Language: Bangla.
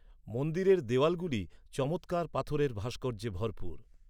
মন্দিরের দেওয়ালগুলি চমৎকার পাথরের ভাস্কর্যে ভরপুর।